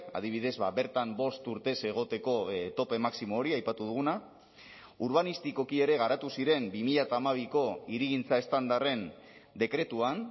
adibidez bertan bost urtez egoteko tope maximo hori aipatu duguna urbanistikoki ere garatu ziren bi mila hamabiko hirigintza estandarren dekretuan